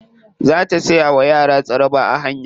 Za ta siya wa yara tsaraba a hanya.